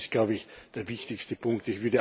Das ist, glaube ich, der wichtigste Punkt.